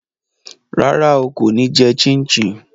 Rárá o, kò ní jẹ chin chin